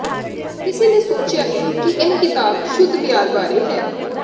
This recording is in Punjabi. ਕਿਸੇ ਨੇ ਸੋਚਿਆ ਹੈ ਕਿ ਇਹ ਕਿਤਾਬ ਸ਼ੁੱਧ ਪਿਆਰ ਬਾਰੇ ਹੈ